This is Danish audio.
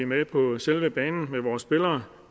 med på selve banen med vores spillere